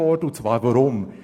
Weshalb dies?